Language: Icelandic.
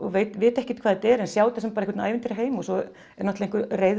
vita ekkert hvað þetta er en sjá þetta sem einhvern ævintýraheim og svo er einhver reið